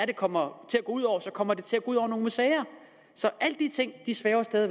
det kommer til at gå ud over så kommer det til at gå ud over nogle museer så alle de ting svæver stadig